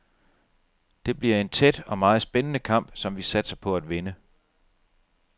Det bliver en tæt og meget spændende kamp, som vi satser på at vinde.